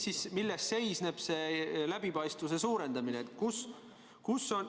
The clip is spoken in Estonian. Ja milles seisneb see läbipaistvuse suurendamine?